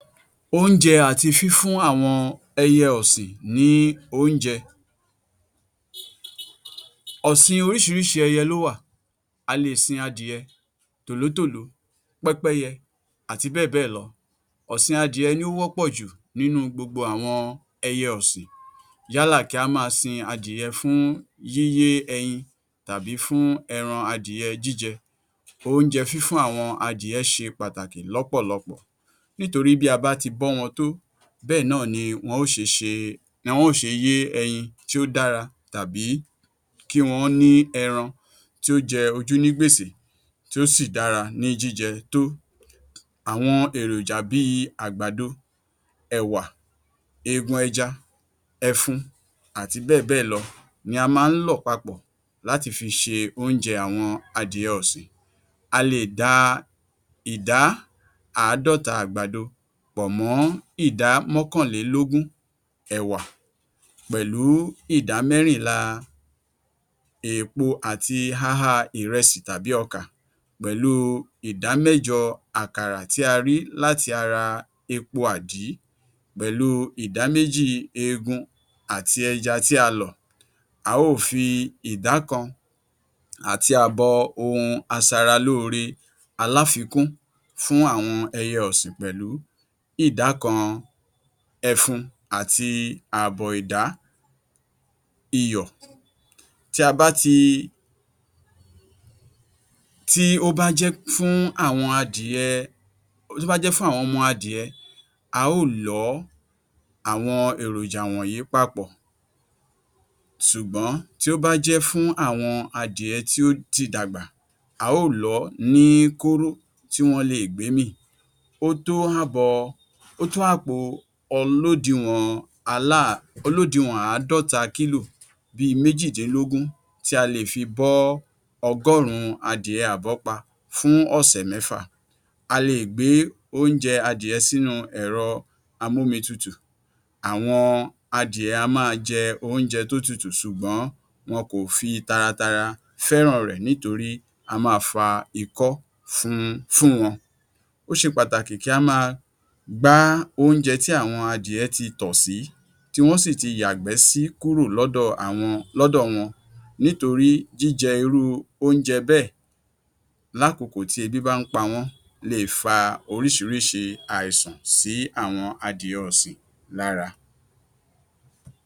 Oúnjẹ àti fífún àwọn ẹyẹ ọ̀sìn ní oúnjẹ. Ọ̀sìn oríṣiríṣi ẹyẹ ló wà, a le è sin adìyẹ, tòlótòló, pẹ́pẹ́yẹ àti bẹ́ẹ̀ bẹ́ẹ̀ lọ. Ọ̀sìn adìyẹ ni ó wọ́pọ̀ jù nínú gbogbo àwọn ẹyẹ ọ̀sìn, yálà kí á máa sin adìyẹ fún yíyé ẹyin tàbí fún ẹran adìyẹ jíjẹ, oúnjẹ fífún àwọn adìyẹ ṣe pàtàkì lọ́pọ̀lọpọ̀, nítorí bí a bá ti bọ́ wọn tó bẹ́ẹ̀ náà ni wọ́n ṣe yé ẹyin tí ó dára tàbí kí wọ́n ní ẹran tí ó jẹ ojú ní gbèsè tí ó sì dára ní jíjẹ tó. Àwọn èròjà bí i àgbàdo, ẹ̀wà, eegun ẹja, ẹfun àti bẹ́ẹ̀ bẹ́ẹ̀ lọ ni a máa ń lọ̀ papọ̀ láti fi ṣe oúnjẹ àwọn adìyẹ ọ̀sìn, a lè da ìdá Àádọ́ta àgbàdo pọ̀ mọ́ ìdá mọ́kànlélógún ẹ̀wà pẹ̀lú ìdá mẹ́rìnlá èèpo àti háhá ìrẹsì tàbí ọkà pẹ̀lú ìdámẹ́jọ àkàrà tí a rí láti ara epo àdí pẹ̀lú ìdáméjì eegun àti ẹja tí a lọ̀, a óò fi ìdá kan àti àbọ̀ ohun aṣaralóore aláfikún fún àwọn ẹyẹ ọ̀sìn pẹ̀lú ìdá kan ẹfun àti àbọ̀ ìdá iyọ̀. Tí ó bá jẹ́ fún àwọn ọmọ adìyẹ a óò lọ̀ ọ́ àwọn èròjà wọ̀nyí papọ̀, ṣùgbọ́n tí ó bá jẹ́ fún àwọn adìyẹ tí ó ti dàgbà a óò lọ̀ ọ́ ní kóró tí wọ́n le è gbémì, ó tó àpò olódiwọ̀n àádọ́ta kílò bí méjìdínlógún tí a lè fi bọ́ ọgọ́rùn-ún adìyẹ àbọ́pa fún ọ̀sẹ̀ mẹ́fà, a le è gbé oúnjẹ adìyẹ sínú ẹ̀rọ amómitutù, àwọn adìyẹ á máa jẹ oúnjẹ tó tutù ṣùgbọ́n wọn kò fi taratara fẹ́ràn rẹ̀ nítorí á máa fa ikọ́ fún wọn. Ó ṣe pàtàkì kí á máa gbá oúnjẹ tí àwọn adìyẹ ti tọ̀ sì í, tí wọ́n sì ti yàgbẹ́ sí kúrò ní ọ̀dọ̀ wọn nítorí jíjẹ irú oúnjẹ bẹ́ẹ̀ lákokò tí ebí bá ń pa wọ́n le è fa oriṣiríṣi àìsàn sí àwọn adìyẹ ọ̀sìn lára.